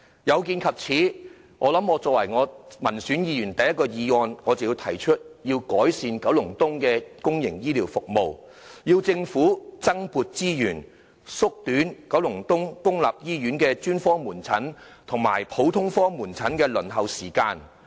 有見及此，我成為民選立法會議員提出的第一項議案，就是要改善九龍東的公營醫療服務，要求政府增撥資源，縮短九龍東公立醫院的專科門診和普通科門診的輪候時間。